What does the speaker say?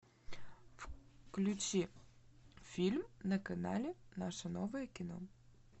включи фильм на канале наше новое кино